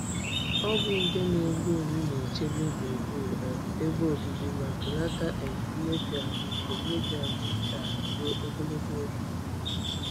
Ọgwụ nje na-egbu egbu na-echebe gburugburu um ebe obibi ma belata um mmebi ahụike mmebi ahụike ala ruo ogologo oge.